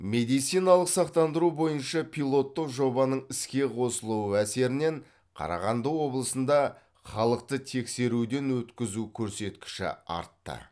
медициналық сақтандыру бойынша пилоттық жобаның іске қосылуы әсерінен қарағанды облысында халықты тексеруден өткізу көрсеткіші артты